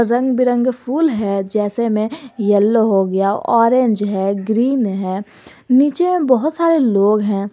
रंग बिरंगे फूल है जैसे में येलो हो गया ऑरेंज है ग्रीन है नीचे बहोत सारे लोग हैं।